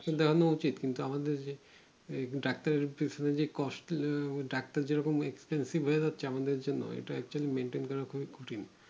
present দেখানো উচিত কিন্তু আমাদের যে ডাক্তার যে costly আহ ডাক্তার যেরকম expensive হয়ে যাচ্ছে আমাদের জন্য এটা হচ্ছে maintain করা খুব কঠিন